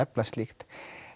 efla slíkt